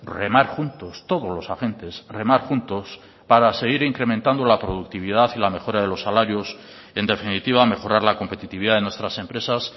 remar juntos todos los agentes remar juntos para seguir incrementando la productividad y la mejora de los salarios en definitiva mejorar la competitividad de nuestras empresas